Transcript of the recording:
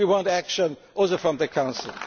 is not enough we want action from